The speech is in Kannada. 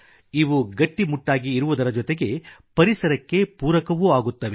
ಇವು ಗಟ್ಟಿಮುಟ್ಟಾಗಿ ಇರುವುದರ ಜೊತೆಗೆ ಪರಿಸರಕ್ಕೆ ಪೂರಕವೂ ಆಗುತ್ತವೆ